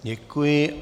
Děkuji.